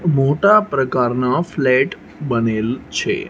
મોટા પ્રકારનો ફ્લેટ બનેલ છે.